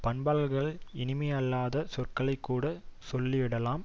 பண்பாளர்கள் இனிமையல்லாத சொற்களைக்கூடச் சொல்லி விடலாம்